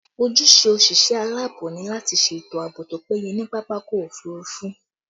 Ojúṣe òṣìṣẹ́ alaabo ni lati ṣètò àbò tó péye ní pápákọ̀ òfurufú